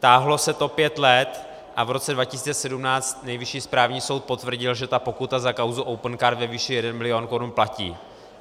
Táhlo se to pět let a v roce 2017 Nejvyšší správní soud potvrdil, že ta pokuta za kauzu Opencard ve výši jeden milion korun platí.